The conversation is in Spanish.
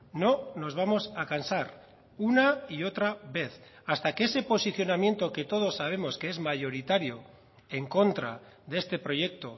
no nos vamos a cansar una y otra vez hasta que ese posicionamiento que todos sabemos que es mayoritario en contra de este proyecto